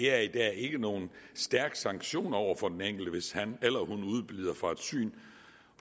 er i dag ikke nogen stærk sanktion over for den enkelte hvis han eller hun udebliver fra et syn